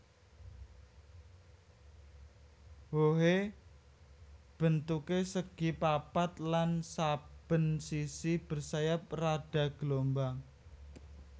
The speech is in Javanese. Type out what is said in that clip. Wohé bentuké segi papat lan saben sisi bersayap rada gelombang